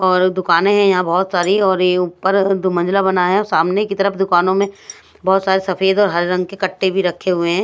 और दुकानें है यहां बहोत सारी और ये ऊपर दो मंजिला बना है सामने की तरफ दुकानों में बहोत सारे सफेद और हरे रंग के कट्टे भी रखे हुए हैं।